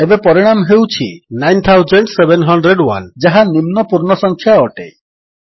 ଏବେ ପରିଣାମ ହେଉଛି 9701 ଯାହା ନିମ୍ନ ପୂର୍ଣ୍ଣ ସଂଖ୍ୟା ଅଟେ